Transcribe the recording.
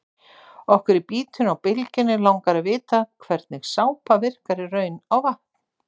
Okkur í Bítinu á Bylgjunni langar að vita hvernig sápa virkar í raun á vatn?